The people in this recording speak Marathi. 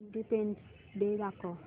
इंडिपेंडन्स डे दाखव